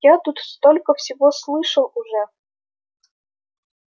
я тут столько всего слышал уже